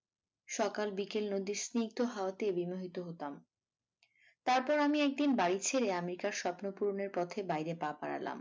সকাল বিকেল নদীর স্নিগ্ধ হাওয়াতে বিমোহিত হতাম তারপর আমি একদিন বাড়ি ছেড়ে আমেরিকার স্বপ্ন পূরণের পথে বাইরে পা বাড়ালাম।